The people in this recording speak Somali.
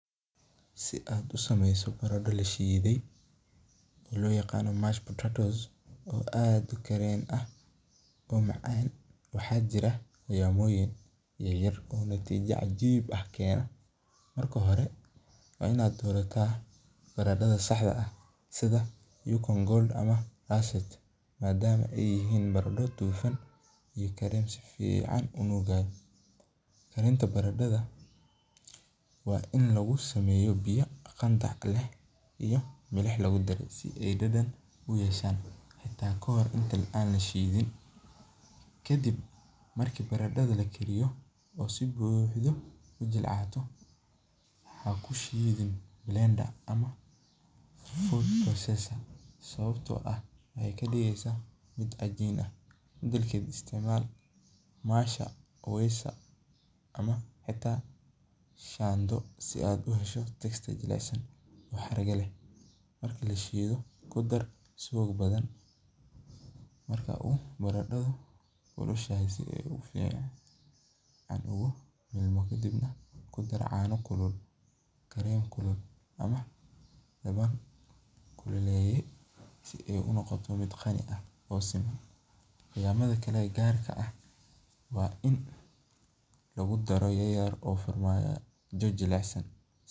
Si aad usameyso barada lashiide oo macaan, waxaa jira sibayin yaryar, marka hore waa inaad dorata barado fican, karinta barada waa in lagu sameeyo biya fican, marka barada lakariyo waxaa kushiide sababta oo ah waxeey ka digeysa mid cajiin ah, marki lashiido ku dar subag badan si aay si fican, kadib kudar caano kulul si aay unoqoto mid siman.